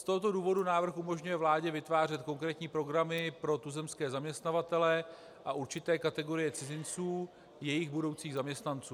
Z tohoto důvodu návrh umožňuje vládě vytvářet konkrétní programy pro tuzemské zaměstnavatele a určité kategorie cizinců, jejich budoucích zaměstnanců.